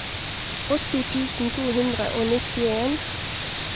åtti tusen to hundre og nittien